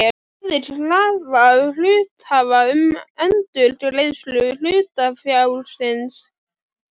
verið krafa hluthafa um endurgreiðslu hlutafjárins.